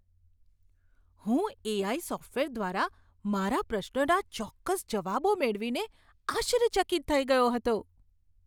હું AI. Software દ્વારા મારા પ્રશ્નોના ચોક્કસ જવાબો મેળવીને આશ્ચર્યચકિત થઈ ગયો હતો.